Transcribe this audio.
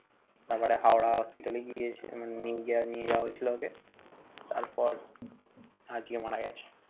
তাপরে হাওড়া hospital এ গিয়ে সেখানে নিয়ে যাওয়া হয়েছিল ওকে। তারপর আজকে মারা গেছে।